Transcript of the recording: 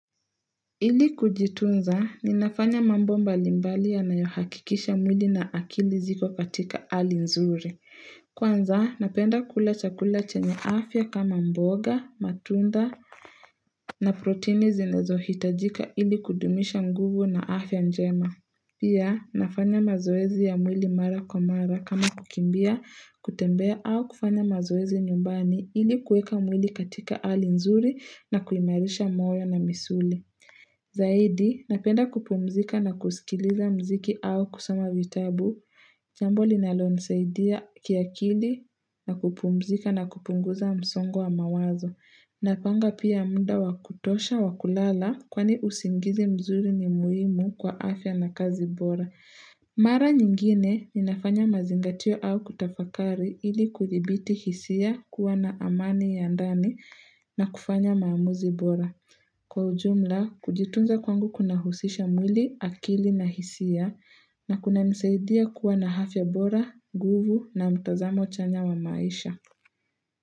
Ili kujitunza ninafanya mambo mbali mbali yanayohakikisha mwili na akili ziko katika hali nzuri. Kwanza, napenda kula chakula chenye afya kama mboga, matunda na protini zinazohitajika ili kudumisha nguvu na afya njema. Pia, nafanya mazoezi ya mwili mara kwa mara kama kukimbia, kutembea au kufanya mazoezi nyumbani ili kuweka mwili katika hali nzuri na kuimarisha moyo na misuli. Zaidi, napenda kupumzika na kusikiliza mziki au kusoma vitabu jambo linalonisaidia kiakili na kupumzika na kupunguza msongo wa mawazo Napanga pia muda wa kutosha wa kulala kwani usingizi mzuri ni muhimu kwa afya na kazi bora Mara nyingine, ninafanya mazingatio au kutafakari ili kudhibiti hisia kuwa na amani ya ndani na kufanya maamuzi bora. Kwa ujumla, kujitunza kwangu kuna husisha mwili, akili na hisia na kunanisaidia kuwa na afya bora, nguvu na mtazamo chanya wa maisha.